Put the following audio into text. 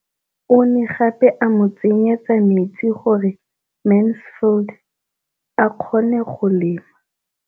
O ne gape a mo tsenyetsa metsi gore Mansfield a kgone go lema.